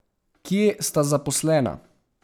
Kje sta zaposlena?